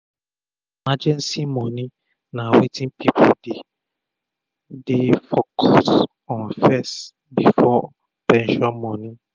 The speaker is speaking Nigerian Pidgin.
emergency moni na wetin pipu dey um dey um focus um on fess before pension moni